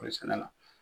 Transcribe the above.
Kɔɔri sɛnɛ la